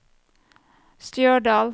Stjørdal